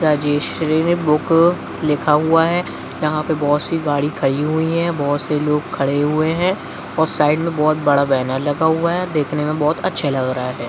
Rajshree book लिखा हुआ है यहाँ पर बहुत सी गाड़ी खड़ी हुई हैं बहुत से लोग खड़े हुए हैं और साइड में बहुत बड़ा बैनर लगा हुआ है देखने में बहुत अच्छे लग रहे है ।